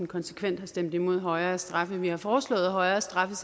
konsekvent har stemt imod højere straffe vi har foreslået højere straffe